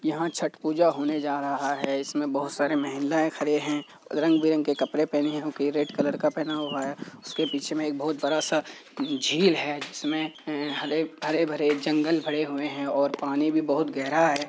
यहां छठ पूजा होने जा रहा है। इसमें बहुत सारे महिलाएं खड़ी हैं। रंग-बिरंगी कपड़े पहने हैं कई रेड कलर का पहना हुआ है। उसके पीछे में एक बहुत बड़ा-सा झील है। इसमें हरे हरे-भरे जंगल भरे हुए हैं और पानी भी बहुत गहरा है।